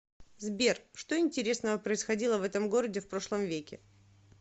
сбер что интересного происходило в этом городе в прошлом веке